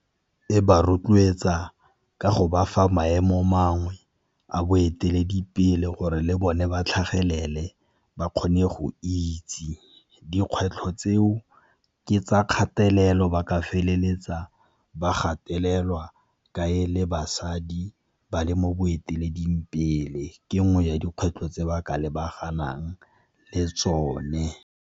E ba rotloetsa ka go ba fa maemo mangwe a boeteledipele gore le bone ba tlhagelele ba kgone go itse. Dikgwetlho tseo ke tsa kgatelelo ba ka feleletsa ba gatelelwa ka e le basadi ba le mo boeteleding pele, ke nngwe ya dikgwetlho tse ba ka lebanang le tsone.